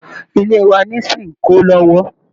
Ilé wa ni s` ń kọ́ lọ́wọ́